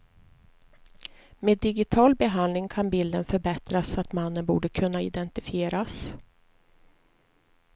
Med digital behandling kan bilden förbättras så att mannen borde kunna identifieras.